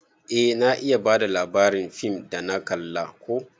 Eh na iya bada labarin fim dana kalla ko.